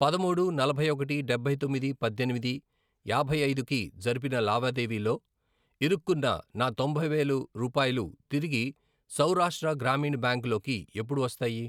పదమూడు, నలభై ఒకటి, డబ్బై తొమ్మిది, పద్దెనిమిది, యాభై ఐదు, కి జరిపిన లావాదేవీలో ఇరుక్కున్న నా తొంభై వేలు రూపాయలు తిరిగి సౌరాష్ట్ర గ్రామీణ బ్యాంక్ లోకి ఎప్పుడు వస్తాయి?